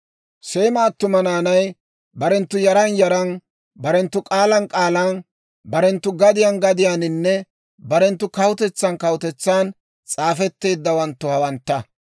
Seema attuma naanay barenttu yaran yaran, barenttu k'aalan k'aalan, barenttu gadiyaan gadiyaaninne barenttu kawutetsan kawutetsan s'aafetteeddawanttu hawantta.